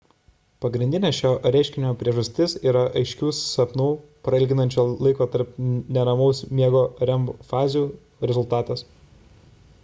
pagrindinė šio reiškinio priežastis yra aiškių sapnų prailginančių laiko tarp neramaus miego rem fazių rezultatas